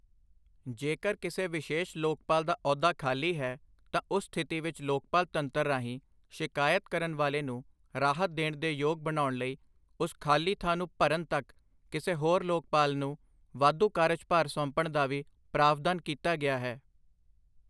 ਜੇਕਰ ਕਿਸੇ ਵਿਸ਼ੇਸ਼ ਲੋਕਪਾਲ ਦਾ ਅਹੁਦਾ ਖਾਲੀ ਹੈ ਤਾਂ ਉਸ ਸਥਿਤੀ ਵਿਚ ਲੋਕਪਾਲ ਤੰਤਰ ਰਾਹੀਂ ਸ਼ਿਕਾਇਤ ਕਰਨ ਵਾਲੇ ਨੂੰ ਰਾਹਤ ਦੇਣ ਦੇ ਯੋਗ ਬਣਾਉਣ ਲਈ ਉਸ ਖਾਲੀ ਥਾਂ ਨੂੰ ਭਰਨ ਤੱਕ ਕਿਸੇ ਹੋਰ ਲੋਕਪਾਲ ਨੂੰ ਵਾਧੂ ਕਾਰਜਭਾਰ ਸੌਂਪਣ ਦਾ ਵੀ ਪ੍ਰਾਵਧਾਨ ਕੀਤਾ ਗਿਆ ਹੈ।